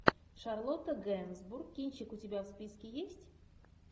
шарлотта генсбур кинчик у тебя в списке есть